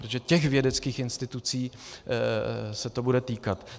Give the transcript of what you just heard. Protože těch vědeckých institucí se to bude týkat.